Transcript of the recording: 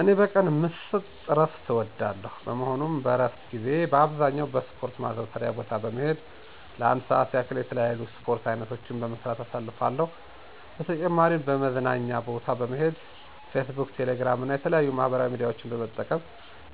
እኔ በቀን ዎስጥ እረፍት እወስዳለሁ። በመሆኑም በእረፍት ጊዜየ በአብዛኛው በስፖረት ማዘውተሪያ ቦታ በመሄድ ለአንድ ሰአት ያህል የተለያዩ የስፖርት አይነቶችን በመስራት አሳልፋለሁ። በተጨማሪም መዝናኛ ቦታ በመሄድ ፌስቡክ፣ ቴሌግራም እና የተለያዩ ማህበራዊ ሚዲያዎችን በመጠቀም